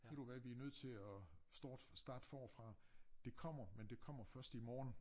Ved du hvad vi nødt til at starte starte forfra det kommer men det kommer først i morgen